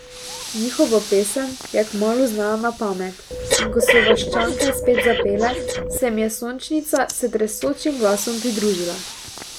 Njihovo pesem je kmalu znala na pamet, in ko so vaščanke spet zapele, se jim je Sončnica s tresočim glasom pridružila.